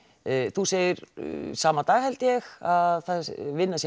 þú segir sama dag held ég að vinnan sé